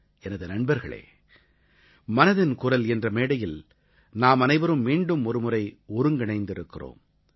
எனது நண்பர்களே மனதின் குரல் என்ற மேடையில் நாமனைவரும் மீண்டும் ஒருமுறை ஒருங்கிணைந்திருக்கிறோம்